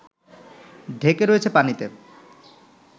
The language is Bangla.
ঢেকে রয়েছে পানিতে